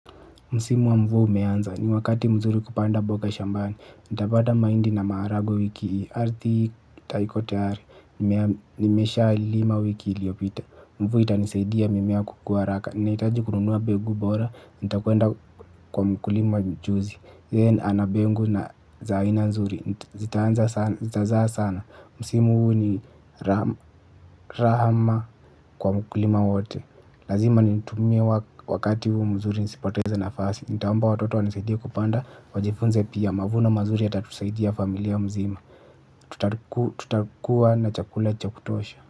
Msimu wa mvua umeanza ni wakati mzuri kupanda boga shambani nitapata mahindi na maharagwe wiki hii Arthi haiko tayari nimeshalima wiki iliyopita mvua itanisaidia mimemea kukuwa haraka naitaji kununua mbegu bora nitakwenda kwa mkulima mchuuzi yeye ana mbegu za aina mzuri. Zitazaa sana. Msimu huu ni raha kwa mkulima wote. Lazima nitumie wakati huu mzuri nisipoteze nafasi. Nitaomba watoto wanisaidie kupanda, wajifunze pia mavuno mazuri yatatusaidia familia mzima. Tutakuwa na chakula cha kutosha.